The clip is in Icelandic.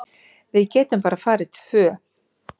Við getum bara farið tvö.